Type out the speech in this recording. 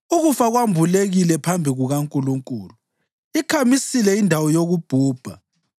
UKufa kwambulekile phambi kukaNkulunkulu; ikhamisile indawo yokubhubha.